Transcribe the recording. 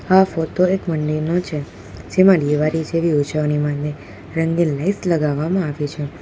આ ફોતો એક મંદિરનો છે જેમાં દિવાળી જેવી ઉજવણી માને રંગીન લાઈટ લગાવવામાં આવી છે.